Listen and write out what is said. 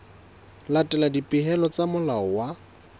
latela dipehelo tsa molao wa